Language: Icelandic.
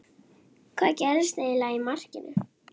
Hvað gerðist eiginlega í markinu?